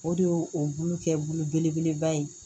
O de y'o o bulu kɛ bolo belebeleba ye